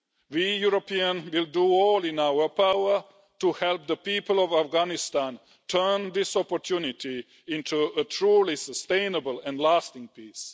We Europeans will do everything in our power to help the people of Afghanistan turn this opportunity into a truly sustainable and lasting peace.